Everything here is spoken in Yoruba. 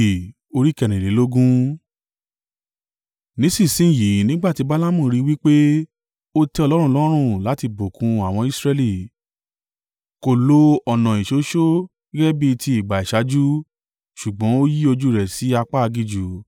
Nísinsin yìí nígbà tí Balaamu rí i wí pé ó tẹ́ Olúwa lọ́rùn láti bùkún àwọn Israẹli, kò lo ọ̀nà ìṣoṣó gẹ́gẹ́ bí ti ìgbà ìṣáájú, ṣùgbọ́n ó yí ojú rẹ̀ sí apá aginjù.